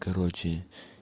короче